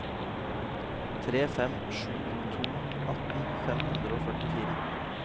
tre fem sju to atten fem hundre og førtifire